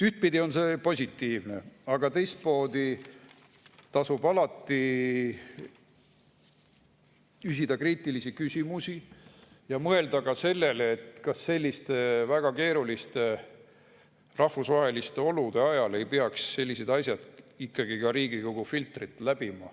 Ühtpidi on see positiivne, aga teistpidi tasub alati küsida kriitilisi küsimusi ja mõelda ka sellele, kas väga keeruliste rahvusvaheliste olude ajal ei peaks sellised asjad ikkagi ka Riigikogu filtrit läbima.